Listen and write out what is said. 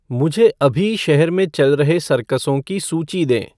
मुझे अभी शहर में चल रहे सर्कसों की सूची दें